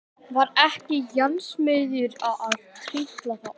Var ekki járnsmiður að trítla þarna?